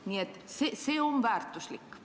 Nii et see on väärtuslik.